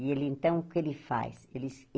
E ele, então, o que ele faz? Ele se